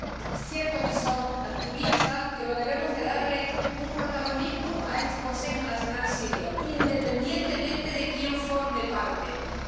es cierto que son activistas, pero debemos darle protagonismo al Consejo Nacional Sirio, independientemente de quién forme parte del mismo.